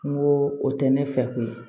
N ko o tɛ ne fɛ ko ye